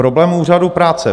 Problém úřadů práce.